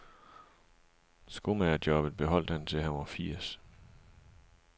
Skomamgerjobbet beholdt han til han var firs.